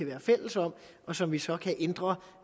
være fælles om og som vi så kan ændre